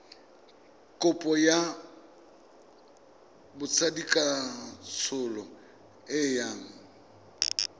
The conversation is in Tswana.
kopo ya botsadikatsholo e yang